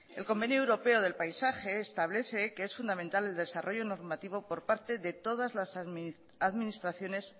el convenio europeo del paisaje establece que es fundamental el desarrollo normativo por parte de todas las administraciones